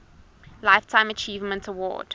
lifetime achievement award